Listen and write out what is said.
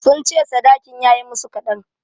Sun ce sadakin ya yi musu kaɗan.